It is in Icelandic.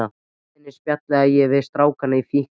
Á leiðinni spjallaði ég við strákana í fíkni